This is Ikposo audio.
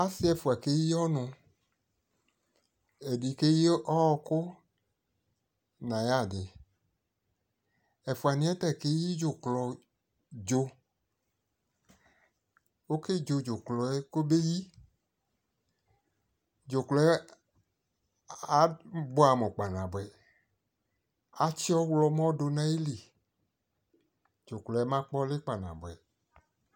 asi ɛfua keyi ɔno, edi keyi ɔko no ayadi, ɛfuaniɛ ta keyi dzuklɔ dzo oke dzo dzuklɔɛ kobe yi, dzuklɔɛ aboɛ amo kpanaboɛ atsi ɔwlɔmɔ do no ayili, dzuklɔɛ ba kpayɛ ɔli kpanaboɛ